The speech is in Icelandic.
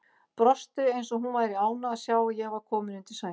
Brosti eins og hún væri ánægð að sjá að ég var kominn undir sæng.